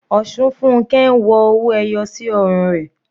Osunfunke ń wọ owó ẹyọ sí ọrùn rẹ̀.